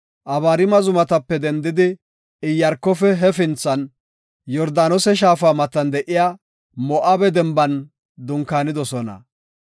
Abariima zumatape dendidi Iyaarkofe hefinthan, Yordaanose shaafa matan de7iya Moo7abe denban dunkaanidosona.